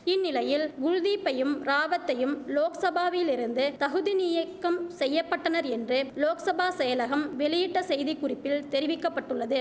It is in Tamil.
இந்நிலையில் குல்தீப்பையும் ராவத்தையும் லோக்சபாவிலிருந்து தகுதிநீயக்கம் செய்ய பட்டனர் என்று லோக்சபா செயலகம் வெளியிட்ட செய்தி குறிப்பில் தெரிவிக்க பட்டுள்ளது